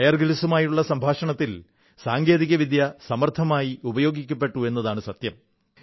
buyer ഗ്രിൽസുമായുള്ള സംഭാഷണത്തിൽ സാങ്കേതികവിദ്യ സമർത്ഥമായി ഉപയോഗിക്കപ്പെട്ടു എന്നതാണ് സത്യം